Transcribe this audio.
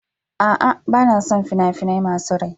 A'a, ba na son fina-finai masu rai.